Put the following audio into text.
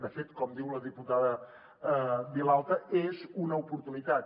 de fet com diu la diputada vilalta és una oportunitat